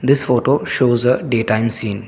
this photo shows a daytime scene.